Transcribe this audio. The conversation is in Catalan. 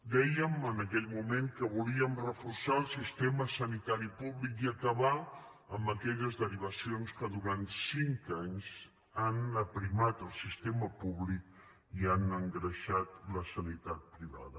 dèiem en aquell moment que volíem reforçar el sistema sanitari públic i acabar aquelles derivacions que durant cinc anys han aprimat el sistema públic i han engreixat la sanitat privada